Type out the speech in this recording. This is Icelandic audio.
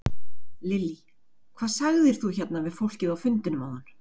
Lillý: Hvað sagðir þú hérna við fólkið á fundinum áðan?